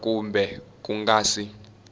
ra kumbe ku nga si